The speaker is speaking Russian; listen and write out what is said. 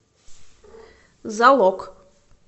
залог